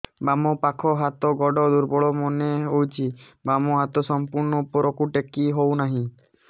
ବାମ ପାଖ ହାତ ଗୋଡ ଦୁର୍ବଳ ମନେ ହଉଛି ବାମ ହାତ ସମ୍ପୂର୍ଣ ଉପରକୁ ଟେକି ହଉ ନାହିଁ